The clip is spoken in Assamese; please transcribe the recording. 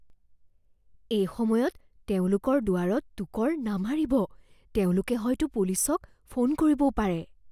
এই সময়ত তেওঁলোকৰ দুৱাৰত টোকৰ নামাৰিব। তেওঁলোকে হয়তো পুলিচক ফোন কৰিবও পাৰে।